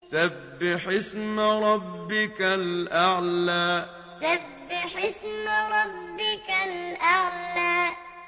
سَبِّحِ اسْمَ رَبِّكَ الْأَعْلَى سَبِّحِ اسْمَ رَبِّكَ الْأَعْلَى